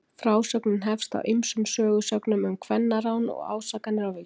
frásögnin hefst á ýmsum sögusögnum um kvennarán og ásakanir á víxl